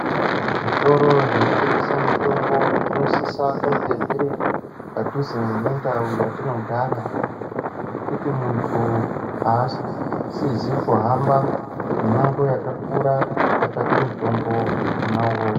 Kuzvitoro zvinotengesa mitombo zvinosisa kunge zviri padhuze nendau yatinogara ngekuti munthu aasizi kuhamba mimango wakakura kuti atsvake mutombo wona uwowo.